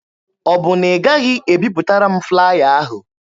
Ọ bụ na ị gaghị ebipụtara m flaya ahụ?